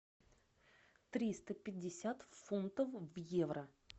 триста пятьдесят фунтов в евро